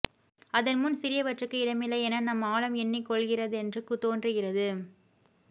அதன் முன் சிறியவற்றுக்கு இடமில்லை என நம் ஆழம் எண்ணிக்கொள்கிறதென்று தோன்றுகிறது